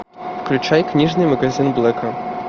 включай книжный магазин блэка